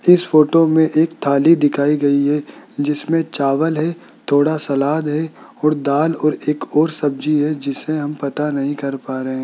जिस फोटो में एक थाली दिखाई गयी है जिसमें चावल है थोड़ा सलाद है और दाल और एक और सब्जी है जिसे हम पता नहीं कर पा रहे हैं।